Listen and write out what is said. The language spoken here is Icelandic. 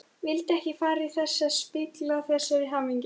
Vildi ekki fara að spilla þessari miklu hamingju.